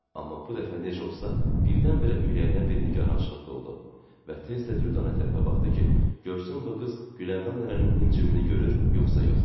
Amma bu dəfə necə olsa birdən-birə ürəyinə bir nigarançılıq doldu və tez də Düdanə tərəfə baxdı ki, görsün bu qız Güləndam nənənin himcimini görür yoxsa yox.